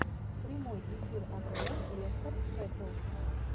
прямой эфир апл лестер шеффилд